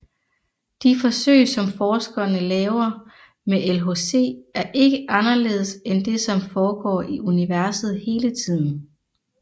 De forsøg som forskerne laver med LHC er ikke anderledes end det som foregår i universet hele tiden